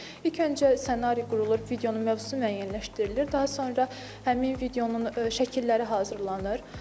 İlk öncə ssenari qurulur, videonun mövzusu müəyyənləşdirilir, daha sonra həmin videonun şəkilləri hazırlanır.